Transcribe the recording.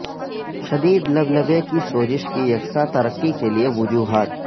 شدید لبلبے کی سوزش کی یکساں ترقی کے لئے وجوہات